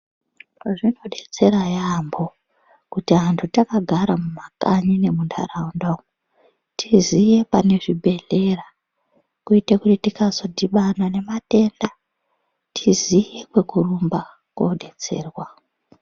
Zvinodetsera yaambo kuti antu takagara mumakanyi nemuntaraunda umu, tiziye pane zvibhedhlera kuite kuti tikazodhibana nematenda tiziye kwekurumba kodetserwa.